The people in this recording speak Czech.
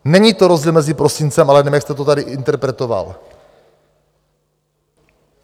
Není to rozdíl mezi prosincem a lednem, jak jste to tady interpretoval.